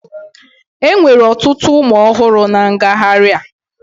Enwere ọtụtụ ụmụ ọhụrụ na ngagharị a